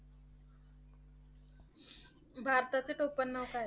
भारताचे टोपण नाव काय?